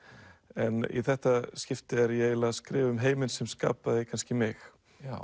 en í þetta skipti er ég eiginlega að skrifa um heiminn sem skapaði kannski mig